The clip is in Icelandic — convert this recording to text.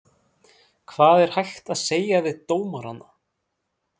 Hvað er hægt að segja við dómarana?